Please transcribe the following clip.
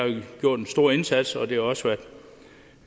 gjort en stor indsats og det har også været